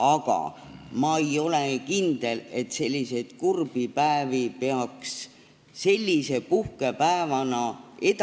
Aga ma ei ole kindel, et selliseid kurbi päevi peaks edasi kandma puhkepäevana, sest